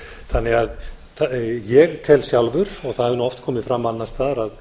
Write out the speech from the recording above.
þannig að ég tel sjálfur og það hefur nú oft komið fram annars staðar að